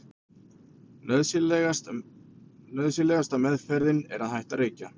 nauðsynlegasta „meðferðin“ er að hætta að reykja